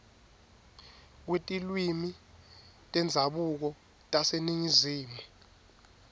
kwetilwimi tendzabuko taseningizimu